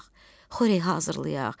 xörək hazırlayaq.